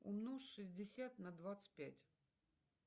умножь шестьдесят на двадцать пять